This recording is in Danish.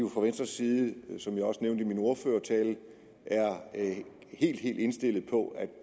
fra venstres side som jeg også nævnte i min ordførertale er helt helt indstillet på